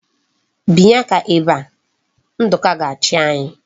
Binye aka ebe a! Nduka ga-achi anyi.